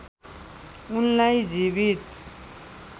उनलाई जीवित